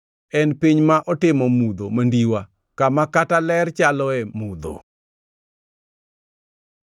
en piny ma otimo mudho mandiwa, kama kata ler chaloe mudho.”